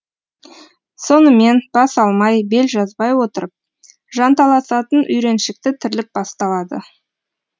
сонымен бас алмай бел жазбай отырып жанталасатын үйреншікті тірлік басталады